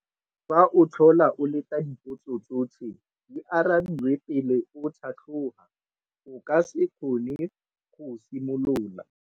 Fa o tlhola o leta dipotso tsotlhe di arabiwe pele o tlhatlhoga, o ka se kgone go simolola.